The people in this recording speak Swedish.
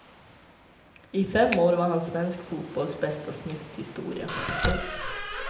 I fem år var han svensk fotbolls bästa snyfthistoria. punkt